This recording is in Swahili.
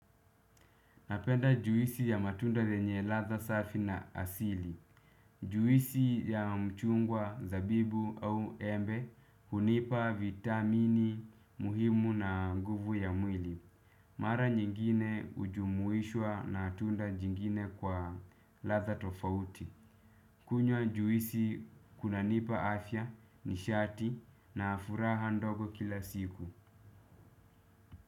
Napenda juisi ya matunda yenye ladha safi na asili. Juisi ya mchungwa zabibu au embe hunipa vitamini muhimu na nguvu ya mwili. Mara nyingine hujumuishwa na tunda jingine kwa ladha tofauti. Kunywa juisi kunanipa afya nishati na furaha ndogo kila siku.